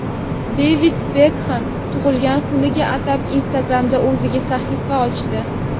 Devid Bekxem tug‘ilgan kuniga atab Instagram’da o‘ziga sahifa ochdi.